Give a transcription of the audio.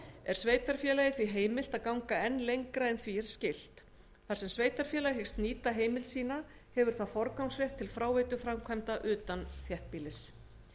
er sveitarfélagi því heimilt að ganga lengra en því er skylt þar sem sveitarfélag hyggst nýta heimild sína hefur það forgangsrétt til fráveituframkvæmda utan þéttbýlis